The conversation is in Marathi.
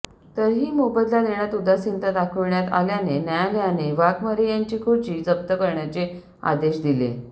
तरीही मोबदला देण्यात उदासीनता दाखविण्यात आल्याने न्यायालयाने वाघमारे यांची खुर्ची जप्त करण्याचे आदेश दिले